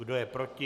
Kdo je proti?